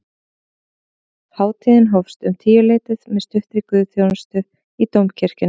Hátíðin hófst um tíuleytið með stuttri guðsþjónustu í dómkirkjunni